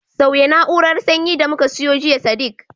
Sauya na'urar sanyi da muka siyo jiya Sadiq